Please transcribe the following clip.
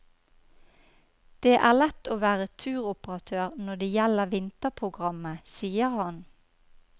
Det er lett å være turoperatør når det gjelder vinterprogrammet, sier han.